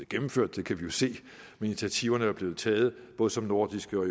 gennemført det kan vi jo se men initiativerne er blevet taget både som nordiske og